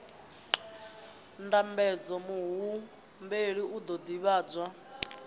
ndambedzo muhumbeli u ḓo ḓivhadzwa